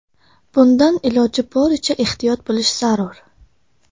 Bundan iloji boricha ehtiyot bo‘lish zarur.